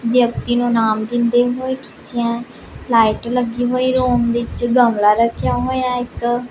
ਵਿਅਕਤੀ ਨੂੰ ਇਨਾਮ ਦਿੰਦੇ ਹੋਏ ਖਿੱਚਿਆ ਲਾਈਟ ਲੱਗੇ ਹੋਏ ਰੂਮ ਵਿੱਚ ਗਮਲਾ ਰੱਖਿਆ ਹੋਇਆ ਇੱਕ।